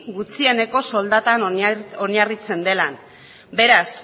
gutxieneko soldatan oinarritzen dela beraz